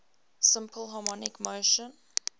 simple harmonic motion